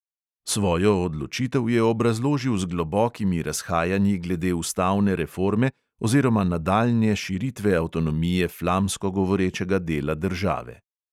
Svojo odločitev je obrazložil z globokimi razhajanji glede ustavne reforme oziroma nadaljnje širitve avtonomije flamsko govorečega dela države.